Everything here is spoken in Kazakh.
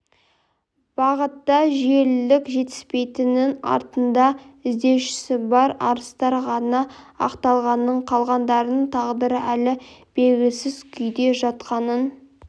бағытта жүйелілік жетіспейтінін артында іздеушісі бар арыстар ғана ақталғанын қалғандарының тағдыры әлі белгісіз күйде жатқанын